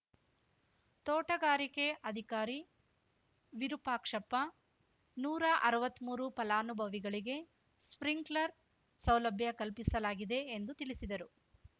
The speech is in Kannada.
ತೋಟಗಾರಿಕೆ ಅಧಿಕಾರಿ ವಿರೂಪಾಕ್ಷಪ್ಪ ನೂರಾ ಅರ್ವತ್ಮೂರು ಫಲಾನುಭವಿಗಳಿಗೆ ಸ್ಪಿಂಕ್ಲರ್‌ ಸೌಲಭ್ಯ ಕಲ್ಪಿಸಲಾಗಿದೆ ಎಂದು ತಿಳಿಸಿದರು